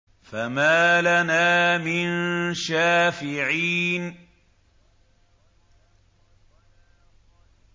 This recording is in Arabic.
فَمَا لَنَا مِن شَافِعِينَ